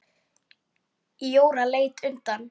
Jóra leit undan.